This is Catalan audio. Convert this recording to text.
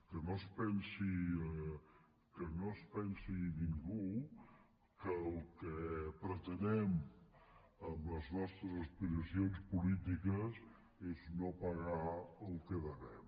que no es pensi ningú que el que pretenem amb les nostres aspiracions polítiques és no pagar el que devem